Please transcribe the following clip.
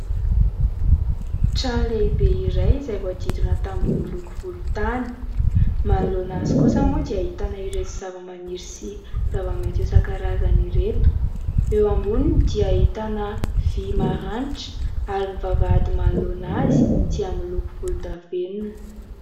Trano lehibe iray izay voahodidina tamboho miloko volontany. Manoloana azy kosa moa dia ahitana ireto zavamaniry sy zava-maitso isan-karazany ireto ; eo amboniny dia ahitana vy maranitra ary ny vavahady manoloana azy dia miloko volondavenona.